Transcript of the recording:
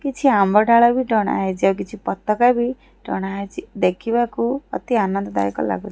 କିଛି ଆମ୍ବ ଡାଳ ବି ଟଣା ହେଇଚି ଆଉ କିଛି ପତକା ବି ଟଣା ହେଇଚି ଦେଖିବାକୁ ଅତି ଆନନ୍ଦ ଦାୟକ ଲାଗୁ --